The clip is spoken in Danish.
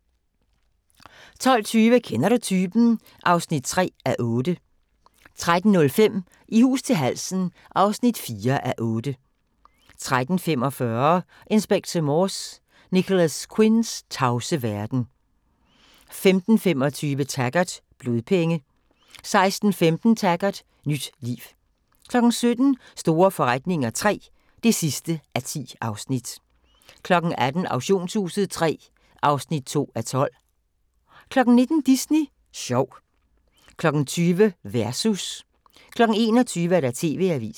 12:20: Kender du typen? (3:8) 13:05: I hus til halsen (4:8) 13:45: Inspector Morse: Nicholas Quinns tavse verden 15:25: Taggart: Blodpenge 16:15: Taggart: Nyt liv 17:00: Store forretninger III (10:10) 18:00: Auktionshuset III (2:12) 19:00: Disney Sjov 20:00: Versus 21:00: TV-avisen